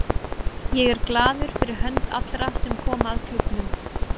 Ég er glaður fyrir hönd allra sem koma að klúbbnum.